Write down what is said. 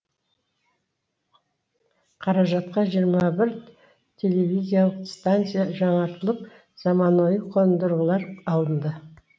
қаражатқа жиырма бір телевизиялық станция жаңартылып заманауи қондырғылар алынды